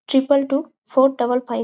Triple টুও four double five.